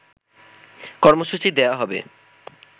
কর্মসূচি দেওয়া হবে